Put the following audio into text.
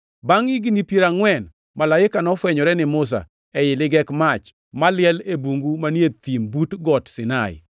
“Bangʼ higni piero angʼwen, malaika nofwenyore ni Musa ei ligek mach maliel e bungu manie thim but Got Sinai.